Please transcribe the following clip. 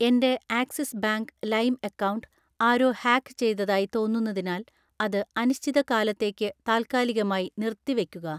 എൻ്റെ Axis bank ലൈം account ആരോ ഹാക്ക് ചെയ്തതായി തോന്നുന്നതിനാൽ അത് അനിശ്ചിതകാലത്തേക്ക് താൽക്കാലികമായി നിർത്തിവയ്ക്കുക